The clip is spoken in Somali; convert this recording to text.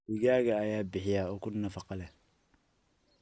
Digaagga ayaa bixiya ukun nafaqo leh.